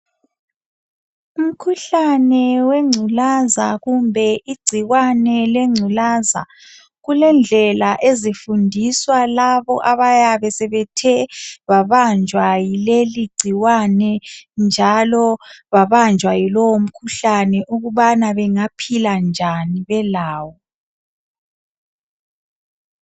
Umkhuhlane wengculaza kumbe igcikwane lengculaza kulendlela ezifundiswa labo abayabe sebethe babanjwa yileli gcikwane njalo babanjwa yilowu mkhuhlane ukubana bengaphila njani belawo.